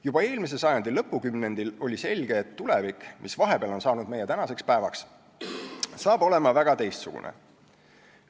Juba eelmise sajandi lõpukümnendil oli selge, et tulevik, mis vahepeal on saanud meie tänaseks päevaks, on täiesti teistsugune.